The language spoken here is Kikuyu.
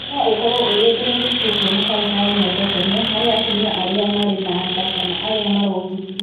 No ũkorũo ũrĩ ũndũ mũritũ kũona kanca ya nyondo tene harĩ atumia arĩa marĩ na nda kana arĩa marongithia.